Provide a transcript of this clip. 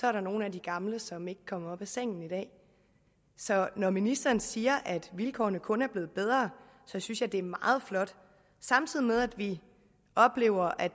er der nogle af de gamle som ikke kommer op af sengen så når ministeren siger at vilkårene kun er blevet bedre synes jeg det er meget flot samtidig med at vi oplever at